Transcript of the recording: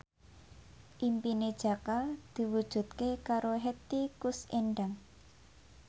impine Jaka diwujudke karo Hetty Koes Endang